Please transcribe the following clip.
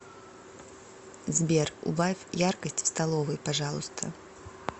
сбер убавь яркость в столовой пожалуйста